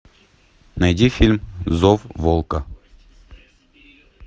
найди фильм зов волка